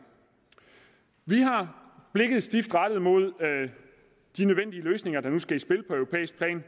vi har blikket stift rettet mod de nødvendige løsninger der nu skal i spil på europæisk plan